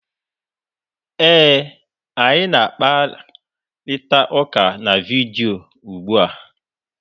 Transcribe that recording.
Ee, anyị na-akparịta ụka na vidiyo ugbu a.